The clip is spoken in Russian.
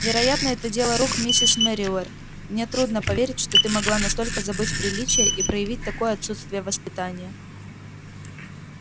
вероятно это дело рук миссис мерриуэзер мне трудно поверить что ты могла настолько забыть приличия и проявить такое отсутствие воспитания